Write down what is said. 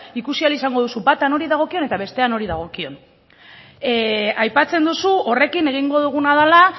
ikusi ahal izango duzu bata nori dagokion eta bestea nori dagokion aipatzen duzu horrekin egingo duguna dela